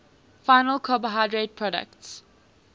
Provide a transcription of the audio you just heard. final carbohydrate products